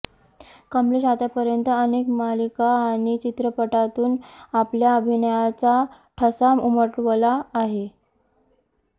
कमलेश आतापर्यंत अनेक मालिका आणि चित्रपटांतून आपल्या अभिनयाचा ठसा उमटवला आहे